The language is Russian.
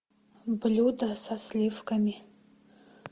блюда со сливками